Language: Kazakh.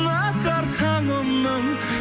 атар таңымның